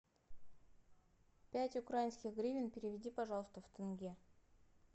пять украинских гривен переведи пожалуйста в тенге